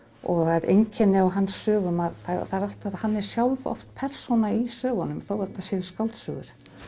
og það er einkenni á hans sögum að það er alltaf að hann er sjálfur oft persóna í sögunum þó þetta séu skáldsögur